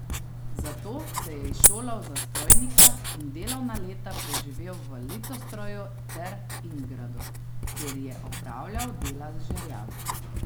Zato se je izšolal za strojnika in delovna leta preživel v Litostroju ter Ingradu, kjer je opravljal dela z žerjavi.